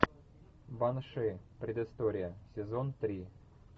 банши предыстория сезон три